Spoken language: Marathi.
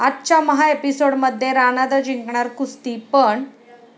आजच्या महाएपिसोडमध्ये राणादा जिंकणार कुस्ती पण...